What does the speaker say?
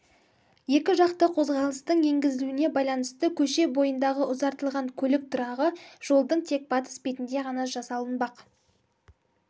екі жақты қозғалыстың енгізілуіне байланысты көше бойындағы ұзартылған көлік тұрағы жолдың тек батыс бетінде ғана жасалынбақ